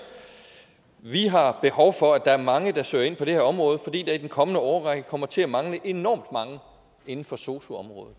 vi har behov for at der er mange der søger ind på det her område fordi der i den kommende årrække kommer til at mangle enormt mange inden for sosu området